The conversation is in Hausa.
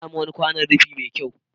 Na sami wani kwanon rufi mai kyau.